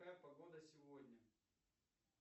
какая погода сегодня